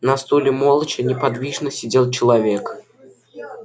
на стуле молча неподвижно сидел человек